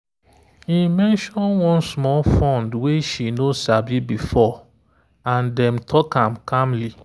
e mention one small fund way she no sabi before and dem talk am calmly.